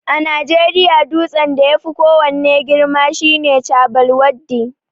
A najeriya dutsen da yafi ko wanne girma shine Chabbal Waddi